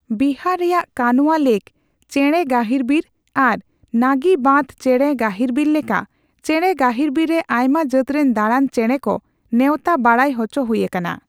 ᱵᱤᱦᱟᱨ ᱨᱮᱭᱟᱜ ᱠᱟᱱᱚᱣᱟ ᱞᱮᱠᱽ ᱪᱮᱬᱮ ᱜᱟᱹᱦᱤᱨᱵᱤᱨ ᱟᱨ ᱱᱟᱹᱜᱤ ᱵᱟᱸᱫᱷ ᱪᱮᱬᱮ ᱜᱟᱹᱦᱤᱨᱵᱤᱨ ᱞᱮᱠᱟ ᱪᱮᱬᱮ ᱜᱟᱹᱤᱨᱵᱤᱨ ᱨᱮ ᱟᱭᱢᱟ ᱡᱟᱹᱛᱨᱮᱱ ᱫᱟᱲᱟᱱ ᱪᱮᱬᱮ ᱠᱚ ᱱᱮᱣᱛᱟ ᱵᱟᱲᱟᱭ ᱦᱚᱪᱚ ᱦᱩᱭ ᱟᱠᱟᱱᱟ ᱾